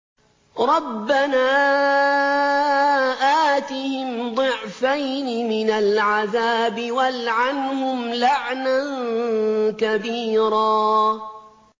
رَبَّنَا آتِهِمْ ضِعْفَيْنِ مِنَ الْعَذَابِ وَالْعَنْهُمْ لَعْنًا كَبِيرًا